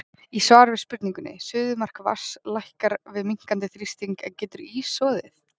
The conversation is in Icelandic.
Í svari við spurningunni Suðumark vatns lækkar við minnkandi þrýsting, en getur ís soðið?